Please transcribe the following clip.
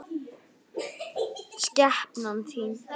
Skepnan þín!